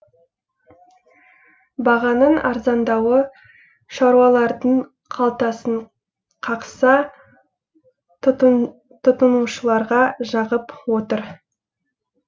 бағаның арзандауы шаруалардың қалтасын қақса тұтынушыларға жағып отыр